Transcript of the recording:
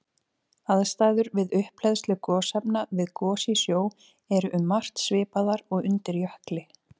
Aðstæður við upphleðslu gosefna við gos í sjó eru um margt svipaðar og undir jökli.